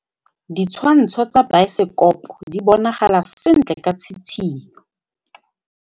Ditshwantshô tsa biosekopo di bonagala sentle ka tshitshinyô.